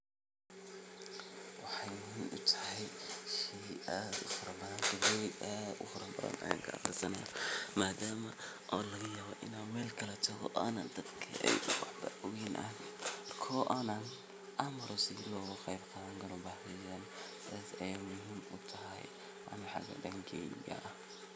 Wexey muhiim utahay shey aad ufar badan oo bugoyin aad ufara badan an kaaqriste madama oo lagayawo in an meel kale tago oo dadka waxbo kaogen koo an amar lagaqadani karin sidas ayey muhiim utahay dankeyga.